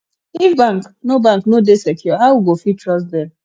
if bank no bank no dey secure how we go fit trust dem